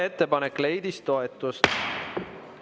Ettepanek leidis toetust.